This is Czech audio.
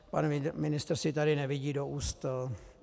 Pan ministr si tady nevidí do úst.